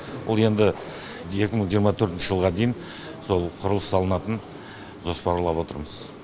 ол енді екі мың жиырма төртінші жылға дейін сол құрылыс салынатын жоспарлап отырмыз